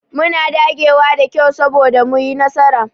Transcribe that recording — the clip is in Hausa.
Muna dagewa da kyau soboda mu yi nasara.